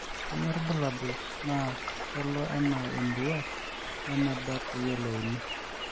kanyio irbulabul naa kelo anaa emurua we eneba peeyiolouni